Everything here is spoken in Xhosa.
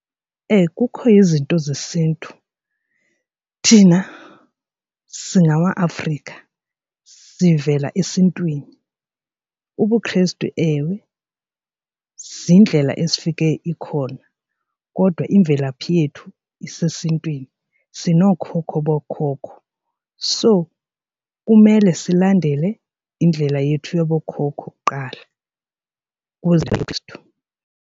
Kukho izinto zesiNtu thina singamaAfrika sivela esiNtwini. UbuKrestu, ewe, ziindlela esifike ikhona kodwa imvelaphi yethu isesiNtwini sinookhokho bookhokho. So kumele silandele indlela yethu yabo khokho kuqala ukuze ubuKrestu.